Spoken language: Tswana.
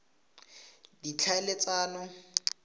ditlhaeletsano